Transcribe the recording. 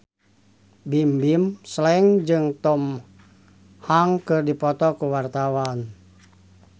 Bimbim Slank jeung Tom Hanks keur dipoto ku wartawan